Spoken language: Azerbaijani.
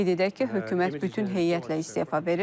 Qeyd edək ki, hökumət bütün heyətlə istefa verir.